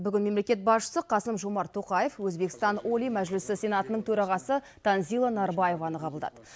бүгін мемлекет басшысы қасым жомарт тоқаев өзбекстан олий мәжілісі сенатының төрағасы танзила нарбаеваны қабылдады